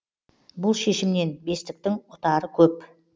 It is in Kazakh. бұл шешімнен бестіктің ұтары көп